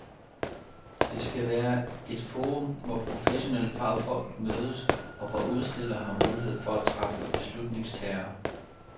Det skal være et forum, hvor professionelle fagfolk mødes, og hvor udstillere har mulighed for at træffe beslutningstagere.